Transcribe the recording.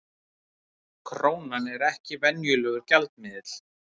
Krónan er ekki venjulegur gjaldmiðill